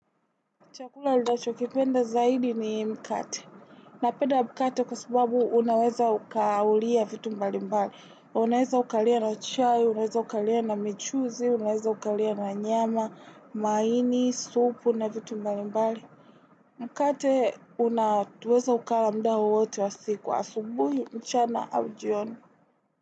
Chakula linacho kipenda zaidi ni mkate. Napenda mkate kwa sababu unaweza ukaulia vitu mbali mbali. Unaweza ukalia na chai, unaweza ukalia na michuzi, unaweza ukalia na nyama, maini, supu na vitu mbali mbali. Mkate unaweza ukala mda wowote wa siku wa asubuhi, mchana au jioni.